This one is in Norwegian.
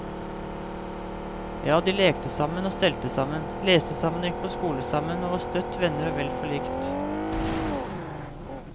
Ja, de lekte sammen og stelte sammen, leste sammen og gikk på skole sammen, og var støtt venner og vel forlikt.